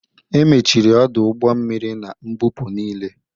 Emechiri ọdụ ụgbọ mmiri na mbupu niile.